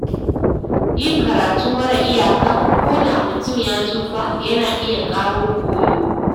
Yin karatu mara iyaka, koda mutum ya tsufa, yana iya ƙara koyo.